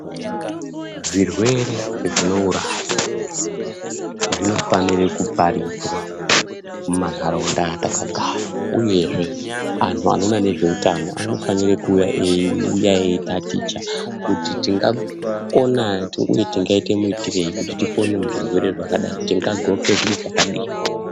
Zvirwere zvinouraya zvinofanirwe kuparidzwa mumanharaunda atakagara uyezve anhu anoona nezveutano anofanira kuuya eiuya eitaticha kuti tingakona uye tingaite muitirei kuti tipone muzvirwre zvakadai, tingagoke zviro zvakadaini.